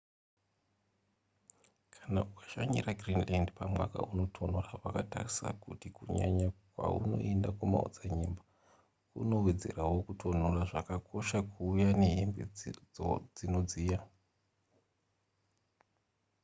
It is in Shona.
kana ukashanyira greenland pamwaka unotonhora wakatarisa kuti kunyanya kwaunoenda kumaodzanyemba kunowedzerawo kutonhora zvakakosha kuuya nehembe dzonodziya